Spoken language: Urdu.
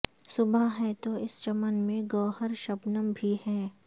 صبح ہے تو اس چمن میں گوہر شبنم بھی ہیں